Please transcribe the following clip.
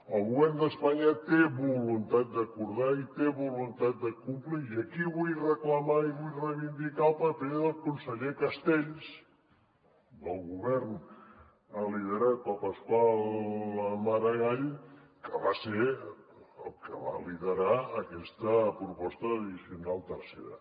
el govern d’espanya té voluntat d’acordar i té voluntat de complir i aquí vull reclamar i vull reivindicar el paper del conseller castells del govern liderat per pasqual maragall que va ser el que va liderar aquesta proposta de l’addicional tercera